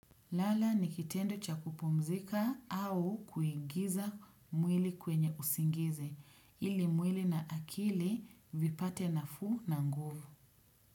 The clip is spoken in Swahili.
Lala nikitendo cha kupumzika au kuingiza mwili kwenye usingizi ili mwili na akili vipate nafuu na nguvu.